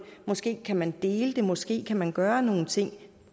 måske kan man dele det måske kan man gøre nogle ting